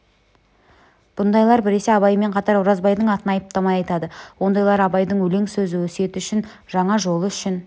бұндайлар біресе абаймен қатар оразбайдың атын айыптамай айтады ондайлар абайдың өлең-сөзі өсиеті үшін жаңа жолы үшін